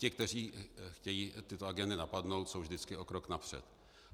Ti, kteří chtějí tyto agendy napadnout, jsou vždycky o krok napřed.